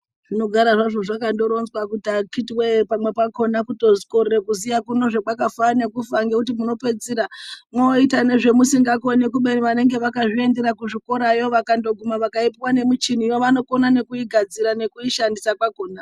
Zvinogara hazvo zvakandoronzwa kuti akiti woye pamweni pakona kutokorere kuziya kwakafanana ngekufa ngekuti munopedzisira mwoita ngezvemusingakoni kubeni vanenge vakazviendera kuzvikorayo vakandiguma vakaipuwa ngemuchiniyo vanokona ngekuigadzira nekuishansisa kwakona.